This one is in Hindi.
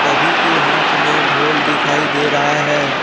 सभी के हाथ में ढ़ोल दिखाई दे रहा है।